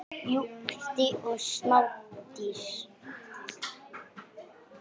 Jurtir og smádýr.